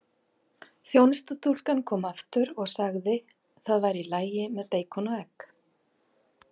Þjónustustúlkan kom aftur og sagði það væri í lagi með beikon og egg.